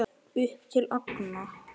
Upp til agna.